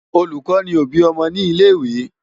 Olùkọ́ ni òbí ọmọ ní ilé-ìwé.